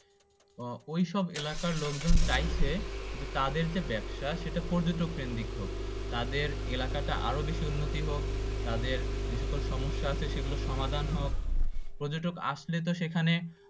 ও ওই সব এলাকার লোক জন চাইছে যে তাদের যে ব্যবসা সেটা পর্যটক কেন্দ্রিক হোক তাদের এলাকাটা আরও বেশি উন্নতি হোক তাদের যে সকল সমস্যা আছে সেগুলো সমাধান হোক পর্যটক আসলে তো সেখানে